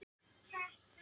Dæmi um það